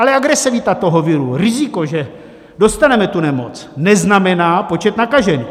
Ale agresivita toho viru, riziko, že dostaneme tu nemoc, neznamená počet nakažených.